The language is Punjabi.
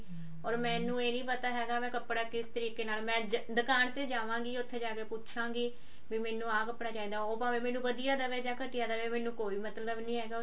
ਓਰ ਮੈਨੂੰ ਇਹ ਨੀ ਪਤਾ ਹੈਗਾ ਮੈਂ ਕੱਪੜਾ ਕਿਸ ਤਰੀਕੇ ਨਾਲ ਮੈਂ ਦੁਕਾਨ ਤੇ ਜਾਵਾਗੀ ਉੱਥੇ ਜਾ ਕਿ ਪੁੱਛਾਗੀ ਵੀ ਮੈਨੂੰ ਆਹ ਕੱਪੜਾ ਚਾਹੀਦਾ ਭਾਵੇਂ ਮੈਨੂ ਣ ਵਧੀਆ ਦਵੇ ਜਾਂ ਘਟੀਆ ਦਵੇ ਮੈਨੂੰ ਕੋਈ ਮਤਲਬ ਨੀ ਹੈਗਾ